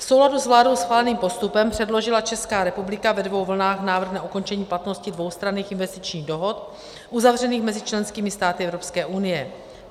V souladu s vládou schváleným postupem předložila Česká republika ve dvou vlnách návrh na ukončení platnosti dvoustranných investičních dohod uzavřených mezi členskými státy Evropské unie.